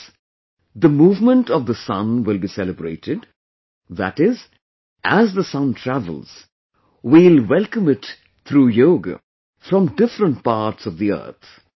In this, the Movement of the Sun will be celebrated, that is, as the sun travels, we will welcome it through yoga from different parts of the earth